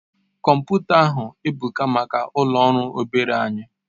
Komputa ahu ebuka maka ulo ọrụ obere anyi